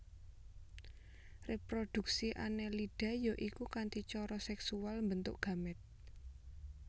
Réprodhuksi Annelida ya iku kanthi cara sèksual mbentuk gamèt